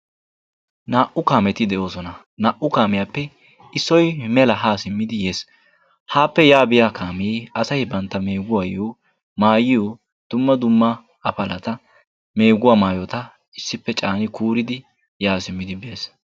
Naa"u kaameti de"oosona . Naa"u kaamiyaappe issoy mela ha simmidi yes. Haappe ya biya kaamee asay bantta meeguwayyo maayiyo dumma dumma apalata meeguwa maayota issippe caani kuuridi yaa simmidi bes.